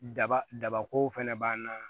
Daba dabakow fɛnɛ b'an na